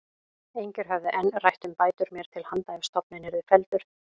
Engir höfðu enn rætt um bætur mér til handa ef stofninn yrði felldur.